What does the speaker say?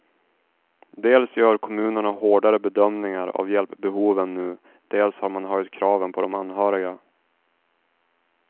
Dels gör kommunerna hårdare bedömningar av hjälpbehoven nu, dels har man höjt kraven på de anhöriga.